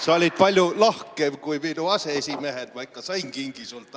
Sa olid palju lahkem kui minu aseesimehed, ma ikka sain kingi sinult.